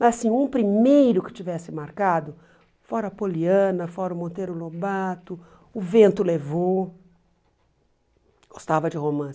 Mas assim um primeiro que tivesse marcado, fora a Poliana, fora o Monteiro Lobato, o Vento Levou, gostava de romance.